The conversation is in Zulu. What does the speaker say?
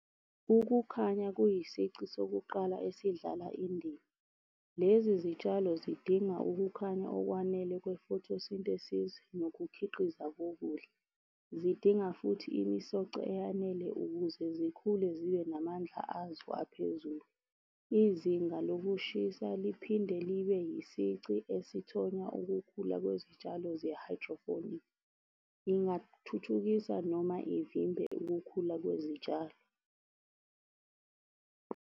Ukukhanya kuyisici sokuqala esidlala indima. Lezi zitshalo zidinga ukukhanya okwanele kwe-photosynthesis, nokukhiqiza kokudla. Zidinga futhi imisoco eyanele ukuze zikhule zibe namandla azo aphezulu. Izinga lokushisa liphinde libe isici esithonya ukukhula kwezitshalo . Ngingathuthukisa noma ngivimbe ukukhula kwezitshalo.